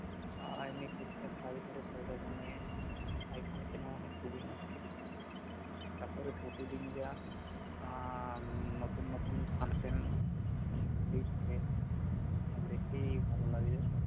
আর আমি টুকটাক কাজ করে পয়সা জমিয়ে আইফোন কেনা মানে খুবই মুস্কিল তারপরে প্রতিদিন যা আহ নতুন নতুন function দিচ্ছে তা দেখেই ভালো লাগে